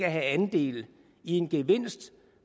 have andel i en gevinst